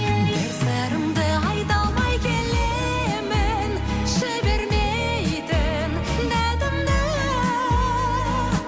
бір сырымды айта алмай келемін жібермейтін датымды